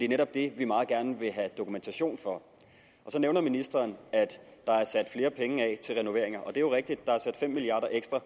netop det vi meget gerne vil have dokumentation for så nævner ministeren at der er sat flere penge af til renoveringer og det er jo rigtigt at der er sat fem milliard